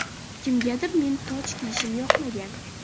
Kimgadir men toj kiyishim yoqmagan.